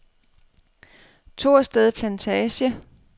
Torsted Plantage